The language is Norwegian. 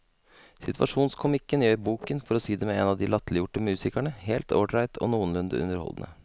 Situasjonskomikken gjør boken, for å si det med en av de latterliggjorte musikerne, helt ålreit og noenlunde underholdende.